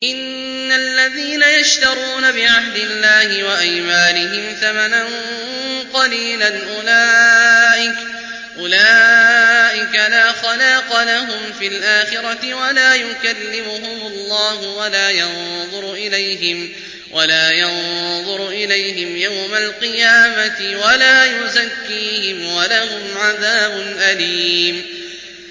إِنَّ الَّذِينَ يَشْتَرُونَ بِعَهْدِ اللَّهِ وَأَيْمَانِهِمْ ثَمَنًا قَلِيلًا أُولَٰئِكَ لَا خَلَاقَ لَهُمْ فِي الْآخِرَةِ وَلَا يُكَلِّمُهُمُ اللَّهُ وَلَا يَنظُرُ إِلَيْهِمْ يَوْمَ الْقِيَامَةِ وَلَا يُزَكِّيهِمْ وَلَهُمْ عَذَابٌ أَلِيمٌ